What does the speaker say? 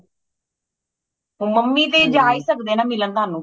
ਹੁਣ ਮੰਮੀ ਤੇ ਜਾ ਹੀ ਸਕਦੇ ਨੇ ਨਾ ਮਿਲਣ ਤੁਹਾਨੂੰ